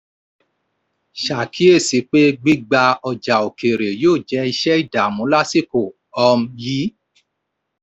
ó ṣàkíyèsí pé gbígbà ọjà òkèèrè yóò jẹ́ iṣẹ́ ìdààmú lásìkò um yìí.